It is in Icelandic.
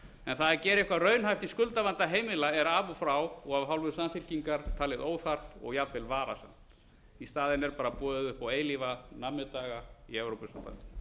góð að gera eitthvað raunhæft í skuldavanda heimila er af og frá og af hálfu samfylkingar talið óþarft og jafnvel varasamt í staðinn er bara boðið upp á eilífa nammidaga í evrópusambandinu